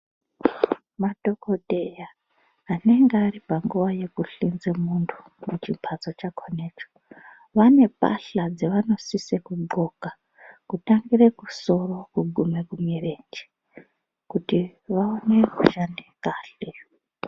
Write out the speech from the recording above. Madhogodheya anenge aripanguwa yekuhlenze muntu muchimbatso chakhonecho vane mbahla dzavanosise kudxoka kutangire kusoro kuguma kumirenje kuti vaone kushande kahle.